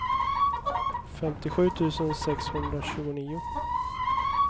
femtiosju tusen sexhundratjugonio